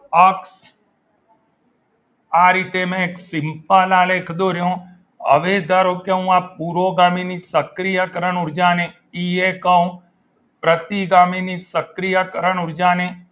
અક્ષ આ રીતે મેં simple આલેખ દોર્યો હવે ધારો કે હું આ પૂરો પૂરોગામીની સક્રિયકરણ ઊર્જા ને ઈ એ કહું પ્રતિગામીની સક્રિયકરણ ઊર્જા ને